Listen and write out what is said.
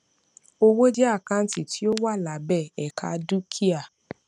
owó jẹ àkáǹtì tí ó wà lábẹ ẹka dúkìá